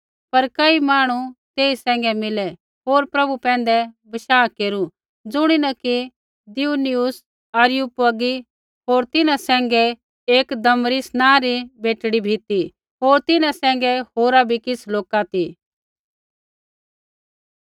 पर कई मांहणु तेई सैंघै मिलै होर प्रभु पैंधै विश्वास केरू ज़ुणीन कि दियुनुसियुस अरियुपगी होर तिन्हां सैंघै एक दमरिस नाँ री बेटड़ी भी ती होर तिन्हां सैंघै होरा बी किछ़ लोका ती